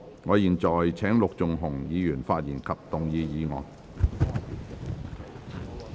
我現在請陸頌雄議員發言及動議議案。